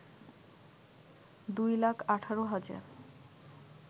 ২ লাখ ১৮ হাজার